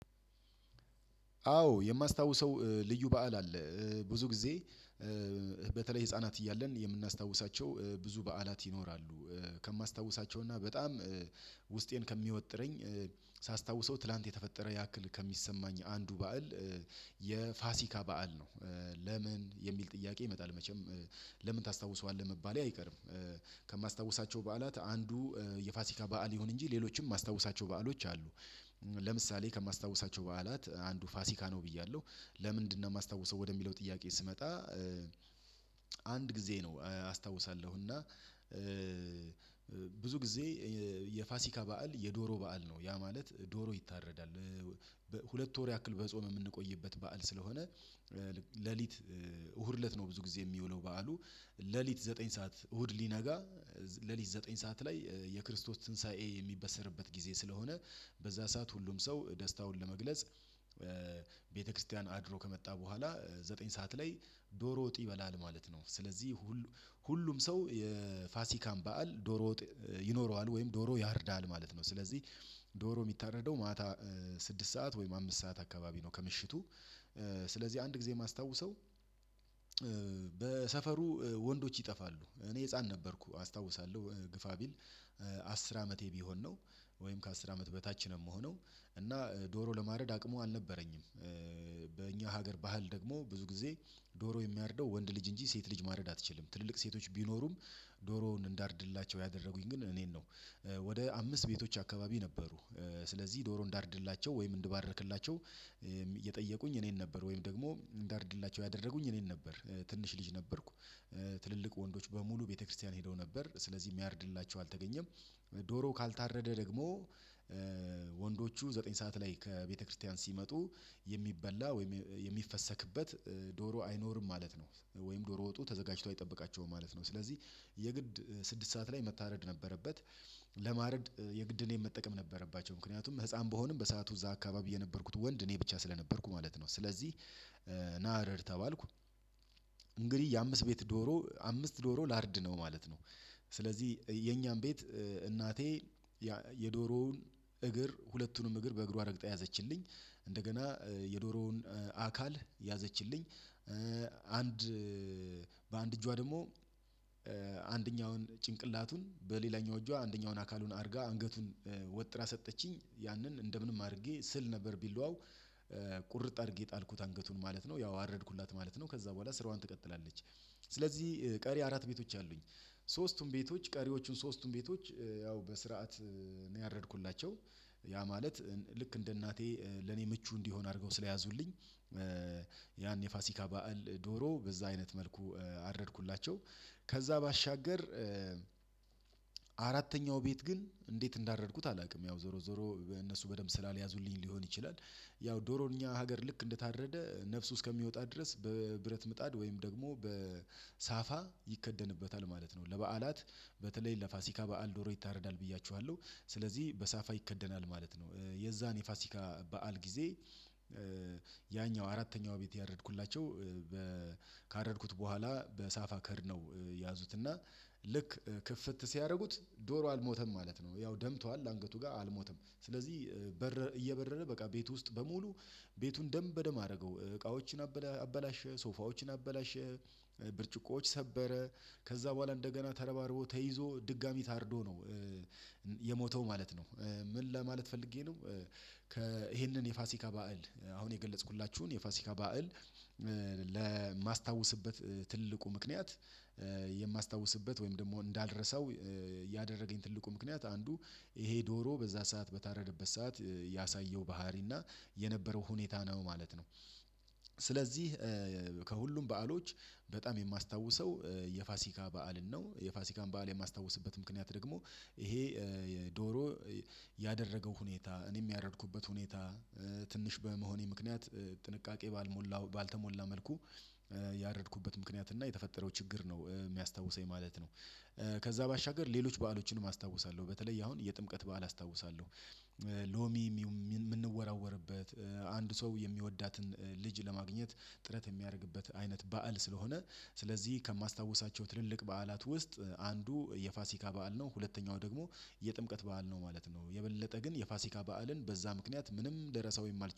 አዎ የማስታውሰው ልዩ በዓል አለ። ብዙ ጊዜ በተለይ ህፃናት እያለን የምናስታውሳቸው ብዙ በዓላት ይኖራሉ። ከማስታውሳቸው እና በጣም ውስጤን ከሚወጥረኝ ሳስታውሰው ትላንት የተፈጠረ ያክል ከሚሰማኝ አንዱ በዓል የፋሲካ በዓል ነው። "ለምን?" የሚል ጥያቄ ይመጣል መቼም "ለምን ታስታውሰዋለህ?" መባሌ አይቀርም። ከማስታውሳቸው በዓላት አንዱ የፋሲካ በዓል ይሁን እንጂ ሌሎችም የማስታውሳቸው በዓሎች አሉ። ለምሳሌ ከማስታውሳቸው በዓላት አንዱ ፋሲካ ነው ብያለሁ። "ለምንድነው የማስታውሰው?" ወደሚለው ጥያቄ ስመጣ አንድ ጊዜ ነው አስታውሳለሁ እና ብዙ ጊዜ የፋሲካ በዓል የዶሮ በዓል ነው፤ ያ ማለት ዶሮ ይታረዳል። ሁለት ወር ያክል በጾም የምንቆይበት በዓል ስለሆነ ሌሊት እሁድ እለት ነው ብዙ ጊዜ የሚውለው በዓሉ ሌሊት ዘጠኝ ሰዓት እሁድ ሊነጋ ሌሊት ዘጠኝ ሰዓት ላይ የክርስቶስ ትንሳኤ የሚበሰርበት ጊዜ ስለሆነ በዛ ሰዓት ሁሉም ሰው ደስታውን ለመግለጽ ቤተክርስቲያን አድሮ ከመጣ በኋላ ዘጠኝ ሰዓት ላይ ዶሮ ወጥ ይበላል ማለት ነው። ስለዚህ ሁል ሁሉም ሰው የፋሲካን በዓል ዶሮ ወጥ ይኖረዋል ወይም ዶሮ ያርዳል ማለት ነው። ስለዚህ ዶሮ የሚታረደው ማታ ስድስት ሰዓት ወይም አምስት ሰዓት አካባቢ ነው ከምሽቱ ስለዚህ አንድ ጊዜ የማስታውሰው በሰፈሩ ወንዶች ይጠፋሉ እኔ ህፃን ነበርኩ አስታውሳለሁ ግፋ ቢል አስር አመቴ ቢሆን ነው ወይም ከአስር አመት በታች ነው የምሆነው እና ዶሮ ለማድረግ አቅሙ አልነበረኝም። በእኛ ሀገር ባህል ደግሞ ብዙ ጊዜ ዶሮ የሚያርደው ወንድ ልጅ እንጂ ሴት ልጅ ማረድ አትችልም ትልልቅ ሴቶች ቢኖሩም ዶሮውን እንዳርድላቸው ያደረጉኝ ግን እኔን ነው። ወደ አምስት ቤቶች አካባቢ ነበሩ ስለዚህ ዶሮ እንዳርድላቸው ወይም እንድባርክላቸው የጠየቁኝ እኔን ነበር ወይም ደግሞ እንዳርድላቸው ያደረጉኝ እኔን ነበር። ትንሽ ልጅ ነበርኩ ትልልቅ ወንዶች በሙሉ ቤተክርስቲያን ሄደው ነበር። ስለዚህ የሚያርድላቸው አልተገኘም። ዶሮው ካልታረደ ደግሞ ወንዶቹ ዘጠኝ ሰዓት ላይ ከቤተክርስቲያን ሲመጡ የሚበላ ወይም የሚፈሰክበት ዶሮ አይኖርም ማለት ነው ወይም ዶሮ ወጡ ተዘጋጅቶ አይጠብቃቸውም ማለት ነው። ስለዚህ የግድ ስድስት ሰዓት ላይ መታረድ ነበረበት። ለማረድ የግድ እኔን መጠቀም ነበረባቸው ምክንያቱም ህፃን ብሆንም በሰአቱ እዛ አካባቢ የነበርኩት ወንድ እኔ ብቻ ስለነበርኩ ማለት ነው። ስለዚህ ና እረድ ተባልኩ። እንግዲህ የአምስት ቤት ዶሮ አምስት ዶሮ ላርድ ነው ማለት ነው። ስለዚህ የኛን ቤት እናቴ የዶሮውን እግር ሁለቱንም እግር በእግሯ ረግጣ ያዘችልኝ። እንደገና የዶሮውን አካል ያዘችልኝ። አንድ በአንድ እጇ ደግሞ አንደኛውን ጭንቅላቱን በሌላኛው እጇ አንደኛውን አካሉን አድርጋ አንገቱን ወጥራ ሰጠችኝ። ያንን እንደምንም አድርጌ ስል ነበር ቢላዋው ቁርጥ አድርጌ ጣልኩት አንገቱን ማለት ነው ያው አረድኩላት ማለት ነው ከዛ በኋላ ስራዋን ትቀጥላለች። ስለዚህ ቀሪ አራት ቤቶች አሉኝ። ሶስቱም ቤቶች ቀሪዎቹን ሶስቱን ቤቶች ያው በስርዓት ነው ያረድኩላቸው። ያ ማለት ልክ እንደ እናቴ ለኔ ምቹ እንዲሆን አድርገው ስለያዙልኝ ያን የፋሲካ በዓል ዶሮ በዛ አይነት መልኩ አረድኩላቸው። ከዛ ባሻገር አራተኛው ቤት ግን እንዴት እንዳረድኩት አላውቅም ያው ዞሮ ዞሮ በእነሱ በደንብ ስላልያዙልኝ ሊሆን ይችላል ያው ዶሮ እኛ ሀገር ልክ እንደታረደ ነፍሱ እስከሚወጣ ድረስ በብረት ምጣድ ወይም ደግሞ በሳፋ ይከደንበታል ማለት ነው። ለበዓላት በተለይ ለፋሲካ በዓል ዶሮ ይታረዳል ብያችኋለሁ፤ ስለዚህ በሳፋ ይከደናል ማለት ነው። የዛን የፋሲካ በዓል ጊዜ አራተኛው ቤት ያረድኩላቸው ካረድኩት በኋላ በሳፋ ከድነው ያዙት እና ልክ ክፍት ሲያደርጉት ዶሮው አልሞተም ማለት ነው። ያው ደምቷል አንገቱ ጋር አልሞተም ስለዚህ በረ እየበረረ በቃ ቤት ውስጥ በሙሉ ቤቱን ደም በደም አደረገው እቃዎችን አበላ አበላሸ፣ ሶፋዎችን አበላሸ፣ ብርጭቆዎች ሰበረ ከዛ በኋላ እንደገና ተረባርቦ ተይዞ ድጋሚ ታርዶ ነው የሞተው ማለት ነው። ምን ለማለት ፈልጌ ነው ከ ይሄንን የፋሲካ ባእል አሁን የገለጽኩላችሁን የፋሲካ ባእል ለማስታውስበት ትልቁ ምክንያት የማስታውስበት ወይም ደግሞ እንዳልረሳው ያደረገኝ ትልቁ ምክንያት አንዱ ይሄ ዶሮ በዛ ሰዓት በታረደበት ሰዓት ያሳየው ባህሪ እና የነበረው ሁኔታ ነው ማለት ነው። ስለዚህ ከሁሉም በዓሎች በጣም የማስታውሰው የፋሲካ በዓልን ነው የፋሲካን በዓል የማስታውስበት ምክንያት ደግሞ ይሄ የዶሮ ያደረገው ሁኔታ እኔም ያረድኩበት ሁኔታ ትንሽ በመሆኔ ምክንያት ጥንቃቄ ባልሞላው ባልተሞላ መልኩ ያረድኩበት ምክንያት እና የተፈጠረው ችግር ነው የሚያስታውሰኝ ማለት ነው። ከዛ ባሻገር ሌሎች በዓሎችንም አስታውሳለሁ። በተለይ አሁን የጥምቀት በዓል አስታውሳለሁ። ሎሚ የሚ የምንወራወርበት አንድ ሰው የሚወዳትን ልጅ ለማግኘት ጥረት የሚያደርግበት አይነት በዓል ስለሆነ ስለዚህ ከማስታውሳቸው ትልልቅ በዓላት ውስጥ አንዱ የፋሲካ በዓል ነው፤ ሁለተኛው ደግሞ የጥምቀት በዓል ነው ማለት ነው። የበለጠ ግን የፋሲካ በዓልን በዛ ምክንያት ምንም ልራሳው የማልች